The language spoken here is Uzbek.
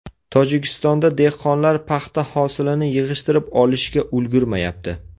Tojikistonda dehqonlar paxta hosilini yig‘ishtirib olishga ulgurmayapti.